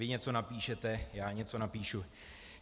Vy něco napíšete, já něco napíšu.